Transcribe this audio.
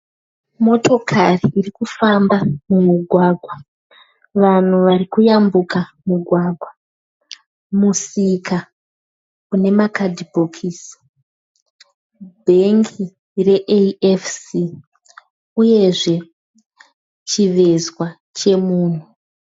Motokari iri kufamba mumugwagwa. Vanhu vari kuyambuka mugwagwa. Musika une makadhibhokisi. Bhengi reAFC uyezve chivezwa chemunhu.